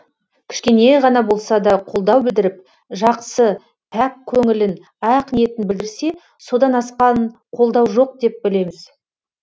кішкене ғана болса да қолдау білдіріп жақсы пәк көңілін ақ ниетін білдірсе содан асқан қолдау жоқ деп білеміз